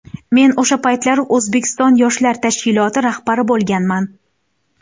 Men o‘sha paytlari O‘zbekiston yoshlar tashkiloti rahbari bo‘lganman.